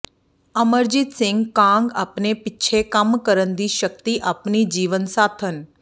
ਅਮਰਜੀਤ ਸਿੰਘ ਕਾਂਗ ਆਪਣੇ ਪਿੱਛੇ ਕੰਮ ਕਰਨ ਦੀ ਸ਼ਕਤੀ ਆਪਣੀ ਜੀਵਨ ਸਾਥਣ ਪ੍ਰੋ